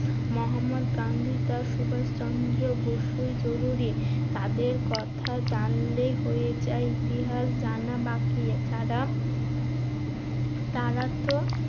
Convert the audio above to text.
মহাত্মা গান্ধী আর সুভাষচন্দ্র বসুই জরুরি। তাদের কথা জানলে হয় যায় ইতিহাস জানা। বাকি যারা তারা তো